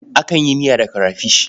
Akan yi miya da karafish.